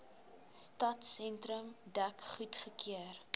stadsentrum dek goedgekeur